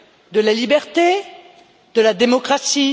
De la liberté, de la démocratie?